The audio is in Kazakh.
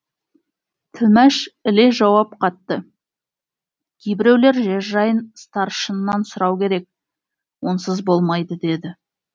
тілмәш іле жауап қатты кейбіреулер жер жайын старшыннан сұрау керек онсыз болмайды деді